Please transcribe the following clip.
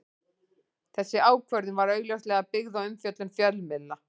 Þessi ákvörðun var augljóslega byggð á umfjöllun fjölmiðla.